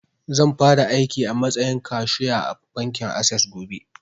Zan fara aiki a matsayin kashu ya a bankin assess gobe